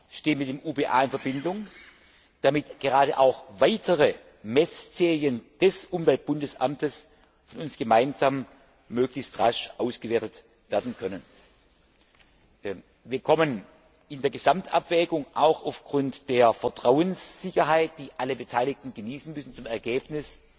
Ich stehe mit dem Umweltbundesamt in Verbindung, damit gerade auch weitere Mess Serien des Umweltbundesamtes von uns gemeinsam möglichst rasch ausgewertet werden können. Wir kommen in der Gesamtabwägung auch aufgrund der Vertrauenssicherheit, die alle Beteiligten genießen müssen, zu dem Ergebnis,